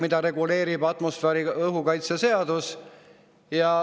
Seda reguleerib atmosfääriõhu kaitse seadus.